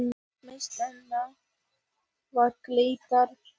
Mismunurinn var glatað fé.